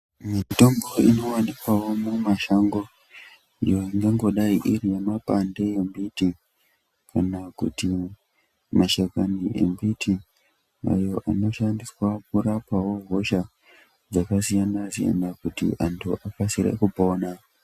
Mitombo inowanikwawo mumashango iyo ingangodayi iri yemapande embiti kana kuti mashakani embiti. Maruwa anoshandiswawo kurapawo hosha dzakasiyana siyana kuti antu akasire kupona.